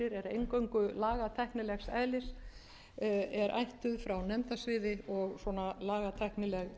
eingöngu lagatæknilegs eðlis er ættuð frá nefndasviði og svona lagatæknileg